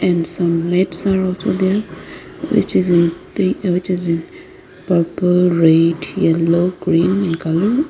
and some mats are also there which is in pi which is in purple red yellow green in colour.